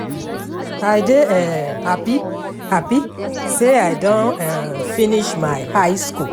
I dey um hapi hapi sey I don um finish my high skool.